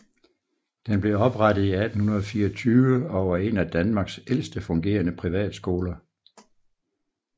Den blev oprettet i 1824 og er en af Danmarks ældste fungerende privatskoler